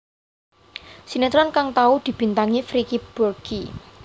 Sinétron kang tau dibintangi Vicky Burky